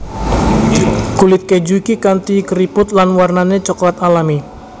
Kulit keju iki kanti keriput lan warnané coklat alami